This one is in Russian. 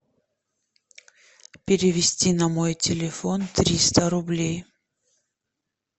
перевести на мой телефон триста рублей